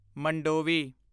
Mandovi